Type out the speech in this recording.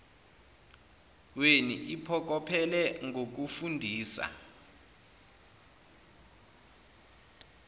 weni iphokophele ngokufundisa